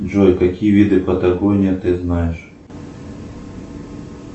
джой какие виды патагония ты знаешь